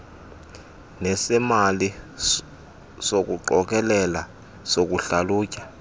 nesemali sokuqokelela sokuhlalutya